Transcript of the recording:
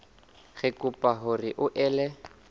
re kopa hore o ele